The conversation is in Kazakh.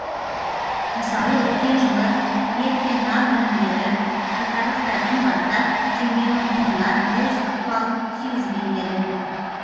мысалы өткен жылы ет пен нан өнімдері айтарлықтай қымбаттап теңгенің құнына өз ықпалын тигізген еді